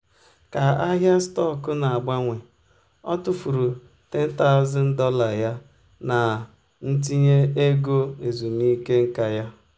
ka ahịa stọkụ na-agbanwe o tụfuru $10000 ya na ntinye ego ezumike nka ya.